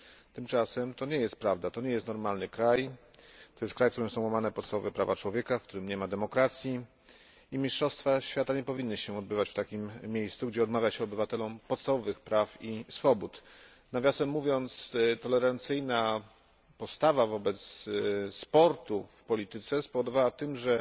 Tymczasem to nie jest prawda to nie jest normalny kraj, to jest kraj, w którym są łamane podstawowe prawa człowieka, w którym nie ma demokracji, i mistrzostwa świata nie powinny się odbywać w takim miejscu, gdzie odmawia się obywatelom podstawowych praw i swobód. Nawiasem mówiąc, tolerancyjna postawa wobec sportu w polityce spowodowała to, że